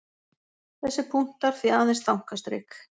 Þessir punktar því aðeins þankastrik.